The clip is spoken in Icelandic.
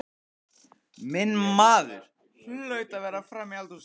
Minn maður hlaut að vera frammi í eldhúsi.